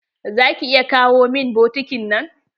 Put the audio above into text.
Za ki iya kawo min bokitin nan?